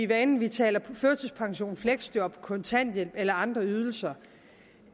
hvad enten vi taler førtidspension fleksjob kontanthjælp eller andre ydelser